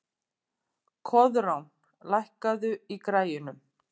Koðrán, lækkaðu í græjunum.